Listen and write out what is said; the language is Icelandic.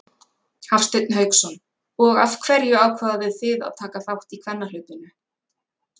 Hafsteinn Hauksson: Og af hverju ákváðuð þið að taka þátt í kvennahlaupinu?